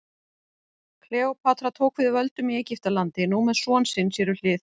Kleópatra tók við völdum í Egyptalandi, nú með son sinn sér við hlið.